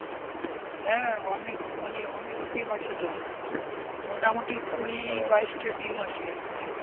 হ্যাঁ অনেক মানে অনেক team আছে তো, মোটামুটি কুড়ি বাইশটা team আছে.